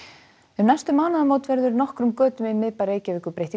um næstu mánaðamót verður nokkrum götum í miðbæ Reykjavíkur breytt í